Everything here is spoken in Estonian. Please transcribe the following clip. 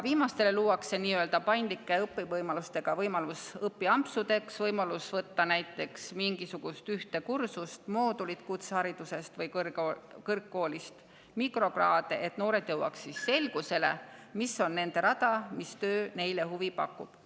Viimastele luuakse nii-öelda paindlike õppevõimalustega võimalus õpiampsudeks, võimalus võtta näiteks mingisugust ühte kursust, osaleda ühes kutsehariduse moodulis või omandada kõrgkoolis mikrokraadi, et nad jõuaks selgusele, mis on nende rada, mis töö neile huvi pakub.